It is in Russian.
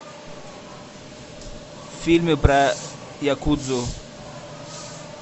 фильмы про якудзу